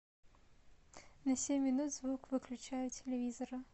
на семь минут звук выключай у телевизора